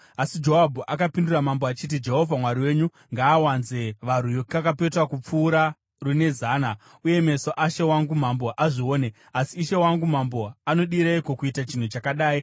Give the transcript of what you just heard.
Asi Joabhu akapindura mambo achiti, “Jehovha Mwari wenyu ngaawanze varwi kakapetwa kupfuura rune zana, uye meso ashe wangu mambo azvione. Asi ishe wangu mambo anodireiko kuita chinhu chakadai?”